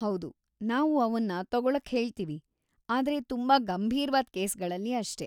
ಹೌದು, ನಾವು ಅವನ್ನ ತಗೊಳಕ್ಹೇಳ್ತೀವಿ, ಆದ್ರೆ ತುಂಬಾ ಗಂಭೀರ್ವಾದ್‌ ಕೇಸ್‌ಗಳಲ್ಲಿ ಅಷ್ಟೇ.